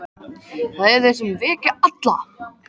Það eru þeir sem eru að vekja alla!